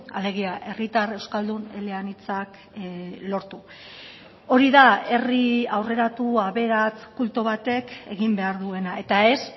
alegia herritar euskaldun eleanitzak lortu hori da herri aurreratu aberats kultu batek egin behar duena eta ez